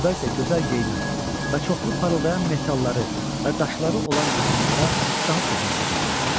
Burada isə gözəl geyinən və çoxlu parıldayan metalları və daşları olan insanlara daha çox hörmət edirdilər.